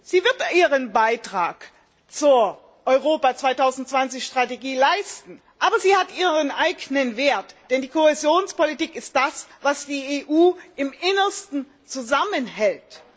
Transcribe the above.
Sie wird ihren Beitrag zur Europa 2020 Strategie leisten, aber sie hat ihren eigenen Wert, denn die Kohäsionspolitik ist das, was die EU im Innersten zusammenhält.